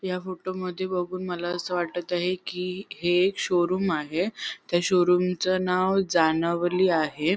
या फोटोमध्ये बघून मला अस वाटत आहे कि हे शोरूम आहे त्या शोरूमच नाव जाणवली आहे.